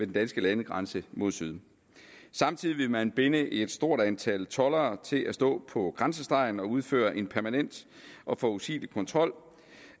danske landegrænse mod syd samtidig ville man binde et stort antal toldere til at stå på grænsestregen og udføre en permanent og forudsigelig kontrol